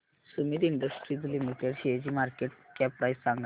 Sumeet industries limited शेअरची market cap price सांगा